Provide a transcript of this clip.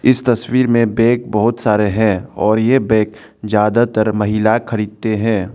इस तस्वीर में बैग बहुत सारे हैं और ये बैग ज्यादातर महिला खरीदते हैं।